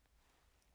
Radio24syv